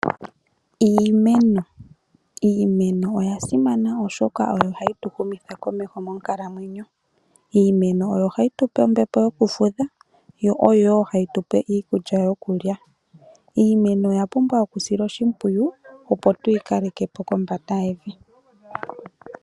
Iimeno Iimeno oya simana oshoka oyo hayi tu humitha komeho monkalamwenyo. Iimeno oyo hayi tupe ombepo yokufutha yo oyo woo hayi tupe iikulya yokulya. Iimeno oya pumbwa okusilwa oshipwiyu opo tuyi kaleke po kombanda yevi.